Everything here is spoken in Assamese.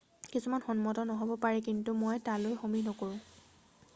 """কিছুমান সন্মত নহব পাৰে কিন্তু মই তালৈ সমীহ নকৰোঁ।""